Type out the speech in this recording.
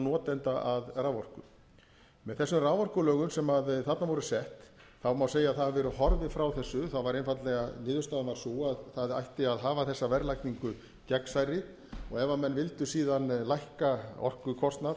notenda að raforku með þessum raforkulögum sem þarna voru sett má segja að horfið hafi verið frá þessu niðurstaðan varð sú að það ætti að hafa þessa verðlagningu gegnsærri og ef menn vildu síðan lækka orkukostnað